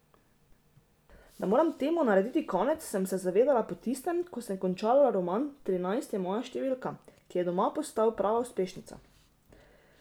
Da moram temu narediti konec, sem se zavedela po tistem, ko sem končala roman Trinajst je moja številka, ki je doma postal prava uspešnica.